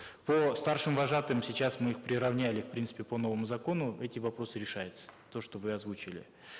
по старшим вожатым сейчас мы их приравняли в принципе по новому закону эти вопросы решаются то что вы озвучили